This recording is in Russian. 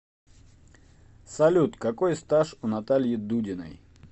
салют какой стаж у натальи дудиной